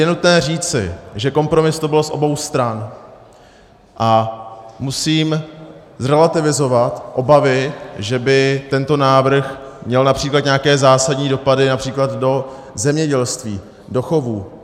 Je nutné říci, že kompromis to byl z obou stran, a musím zrelativizovat obavy, že by tento návrh měl například nějaké zásadní dopady například do zemědělství, do chovů.